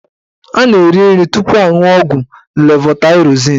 Anaghị eri nri tupu aṅuọ ọgwụ levotaịrozin.